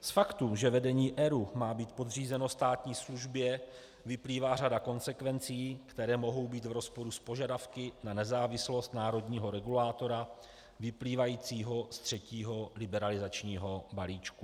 Z faktu, že vedení ERÚ má být podřízeno státní službě, vyplývá řada konsekvencí, které mohou být v rozporu s požadavky na nezávislost národního regulátora vyplývajícího z třetího liberalizačního balíčku.